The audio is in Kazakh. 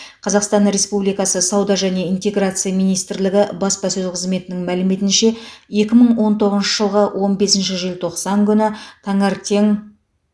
қазақстан республикасы сауда және интеграция министрлігі баспасөз қызметінің мәліметінше екі мың он тоғызыншы жылғы он бесінші желтоқсан күні таңертең